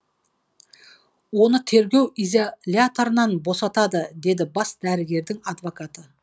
оны тергеу изоляторынан босатады деді бас дәрігердің адвокаты